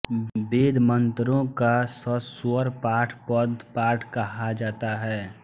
वेदमंत्रों का सस्वर पाठ पदपाठ कहा जाता है